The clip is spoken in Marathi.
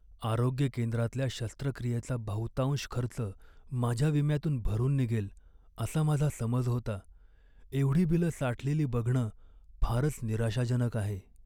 आरोग्य केंद्रातल्या शस्त्रक्रियेचा बहुतांश खर्च माझ्या विम्यातून भरून निघेल असा माझा समज होता. एवढी बिलं साठलेली बघणं फारच निराशाजनक आहे.